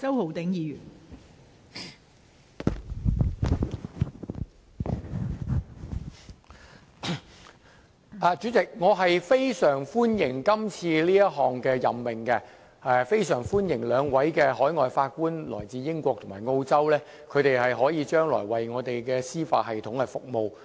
代理主席，我非常歡迎今次這項任命，亦非常歡迎兩位分別來自英國和澳洲的海外法官將來為我們的司法系統服務。